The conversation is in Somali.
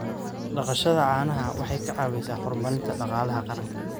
Dhaqashada caanaha waxay ka caawisaa horumarinta dhaqaalaha qaranka.